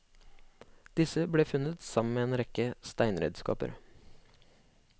Disse ble funnet sammen med en rekke steinredskaper.